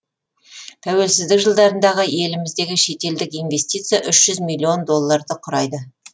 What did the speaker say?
тәуелсіздік жылдарындағы еліміздегі шетелдік инвестиция үш жүз миллион долларды құрайды